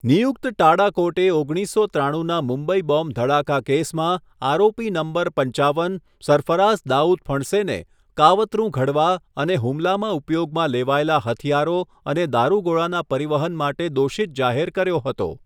નિયુક્ત ટાડા કોર્ટે ઓગણીસસો ત્રાણુંના મુંબઈ બોમ્બ ધડાકા કેસમાં આરોપી નંબર પંચાવન, સરફરાઝ દાઉદ ફણસેને કાવતરું ઘડવા અને હુમલામાં ઉપયોગમાં લેવાયેલા હથિયારો અને દારૂગોળો પરિવહન માટે દોષિત જાહેર કર્યો હતો.